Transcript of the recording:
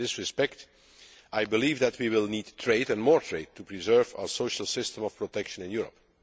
In this respect, I believe that we will need trade and more trade to preserve our social system of protection in Europe.